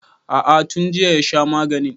A'a tun jiya ya sha maganin